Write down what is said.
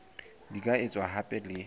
di ka etswa hape le